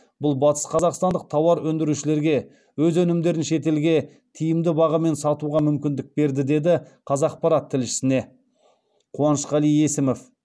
бұл батысқазақстандық тауар өндірушілерге өз өнімдерін шетелге тиімді бағамен сатуға мүмкіндік берді деді қазақпарат тілшісіне қуанышқали есімов